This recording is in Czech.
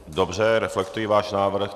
Dobře, reflektuji váš návrh.